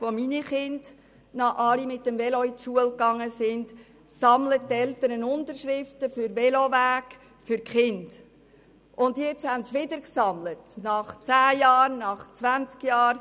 Als meine Kinder noch alle mit dem Velo zur Schule gingen, sammelten wir bereits, und jetzt haben sie wieder gesammelt, nach zehn Jahren, nach zwanzig Jahren.